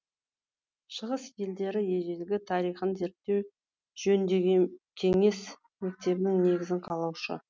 шығыс елдері ежелгі тарихын зерттеу жөніндегі кеңес мектебінің негізін қалаушы